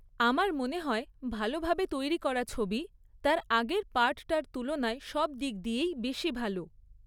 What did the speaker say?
আমার মনে হয় ভালো ভাবে তৈরি করা ছবি, তার আগের পার্টটার তুলনায় সব দিক দিয়েই বেশি ভালো।